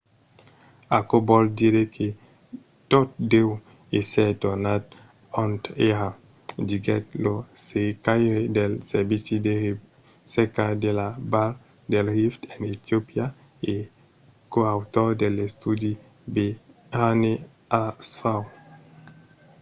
aquò vòl dire que tot deu èsser tornat ont èra, diguèt lo cercaire del servici de recerca de la val del rift en etiopia e coautor de l'estudi berhane asfaw